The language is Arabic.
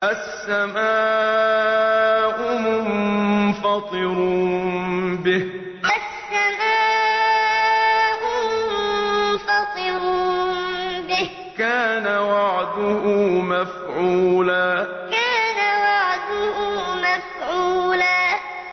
السَّمَاءُ مُنفَطِرٌ بِهِ ۚ كَانَ وَعْدُهُ مَفْعُولًا السَّمَاءُ مُنفَطِرٌ بِهِ ۚ كَانَ وَعْدُهُ مَفْعُولًا